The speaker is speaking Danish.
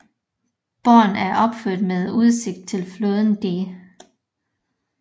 Borgen er opført med udsigt til floden Dee